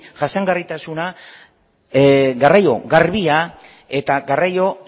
jasangarritasuna garraio garbia eta garraio